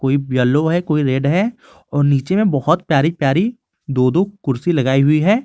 Yellow है कोई red है और नीचे में बहुत प्यारी प्यारी दो दो कुर्सी लगाई हुई है।